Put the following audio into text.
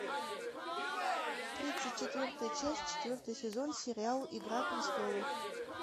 тридцать четвертая часть четвертый сезон сериал игра престолов